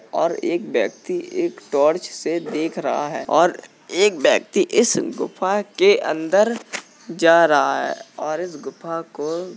और एक व्यक्ति एक टॉर्च से देख रहा है और एक व्यक्ति इस गुफा के अंदर जा रहा है और इस गुफा को --